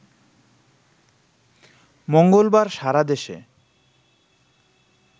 মঙ্গলবার সারা দেশে